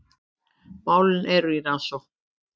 Málin eru í rannsókn